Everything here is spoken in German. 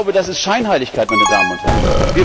Das ist Scheinheiligkeit, meine Damen und Herren!